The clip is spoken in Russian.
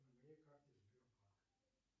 на моей карте сбербанк